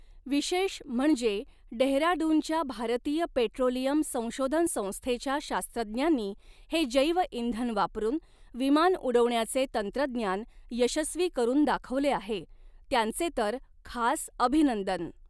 विशेष म्हणजे डेहराडूनच्या भारतीय पेट्रोलियम संशोधन संस्थेच्या शास्त्रज्ञांनी हे जैवइंधन वापरून विमान उडवण्याचे तंत्रज्ञान यशस्वी करून दाखवले आहे, त्यांचे तर खास अभिनंदन.